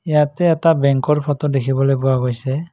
ইয়াতে এটা বেঙ্কৰ ফটো দেখিবলৈ পোৱা গৈছে।